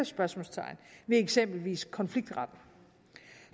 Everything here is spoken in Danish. spørgsmålstegn ved eksempelvis konfliktretten